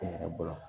N yɛrɛ bolo